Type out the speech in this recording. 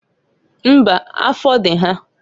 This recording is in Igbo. Mbaǃ Afọ dị ha.